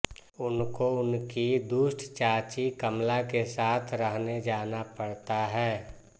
उनको उनकी दुष्ट चाची कमला के साथ रहने जाना पड़ता है